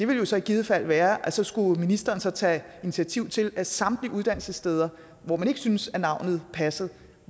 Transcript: vil så i givet fald være at så skulle ministeren så tage initiativ til at samtlige uddannelsessteder hvor man ikke syntes navnet passede